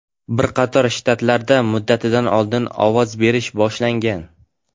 Bir qator shtatlarda muddatidan oldin ovoz berish boshlangan.